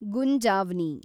ಗುಂಜಾವ್ನಿ